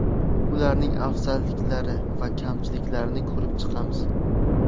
Ularning afzalliklari va kamchiliklarini ko‘rib chiqamiz.